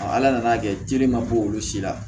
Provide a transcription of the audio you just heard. ala nana kɛ teliman bo olu si la